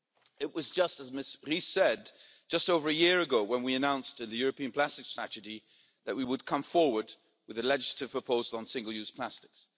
It was just as Ms Ries said just over a year ago when we announced in the European Plastics Strategy that we would come forward with a legislative proposal on single use plastics.